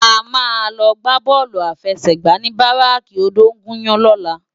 A má lò gbá bòlú áfèsègbá ni báráki ódóngúyàn lòlá